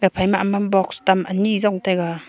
phai ma ammam box tam anyi jong taega.